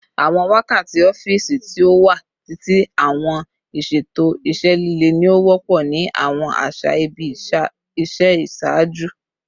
Awọn wakati ọfiisi ti o wa titi ati awọn iṣeto iṣẹ lile ni o wọpọ ni awọn aṣa ibi iṣẹ iṣaaju